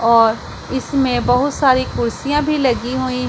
और इसमें बहुत सारी कुर्सियां भी लगी हुई --